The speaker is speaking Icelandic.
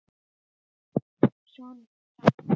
Sonur þeirra.